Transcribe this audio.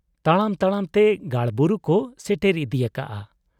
ᱛᱟᱲᱟᱢ ᱛᱟᱲᱟᱢ ᱛᱮ ᱜᱟᱲ ᱵᱩᱨᱩ ᱠᱚ ᱥᱮᱴᱮᱨ ᱤᱫᱤᱭᱟᱠᱟᱰ ᱟ ᱾